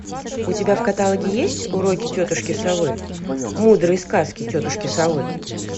у тебя в каталоге есть уроки тетушки совы мудрые сказки тетушки совы